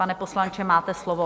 Pane poslanče, máte slovo.